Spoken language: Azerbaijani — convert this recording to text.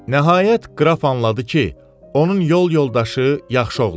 Nəhayət, qraf anladı ki, onun yol yoldaşı yaxşı oğlandı.